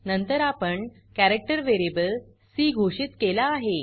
नंतर आपण character variable C घोषित केला आहे